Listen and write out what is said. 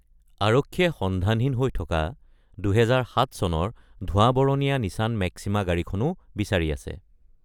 আৰক্ষীয়ে সন্ধানহীন হৈ থকা ২০০৭ চনৰ ধোঁৱা-বৰণীয়া নিছান মেক্সিমা গাড়ীখনো বিচাৰি আছে।